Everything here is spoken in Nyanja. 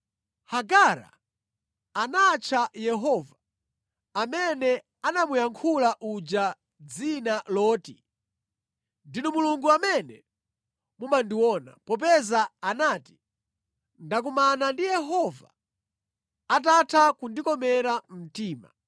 Hagara anatcha Yehova amene anamuyankhula uja dzina loti: “Ndinu Mulungu amene mumandiona,” popeza anati, “Ndakumana ndi Yehova atatha kundikomera mtima.”